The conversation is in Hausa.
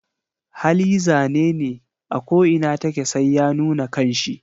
Hali zanene ako inatake sai ya nuna kanshi.